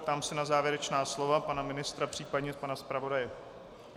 Ptám se na závěrečná slova pana ministra, případně pana zpravodaje.